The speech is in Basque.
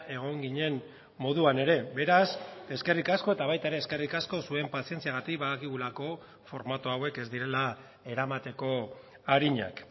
egon ginen moduan ere beraz eskerrik asko eta baita ere eskerrik asko zuen pazientziagatik badakigulako formatu hauek ez direla eramateko arinak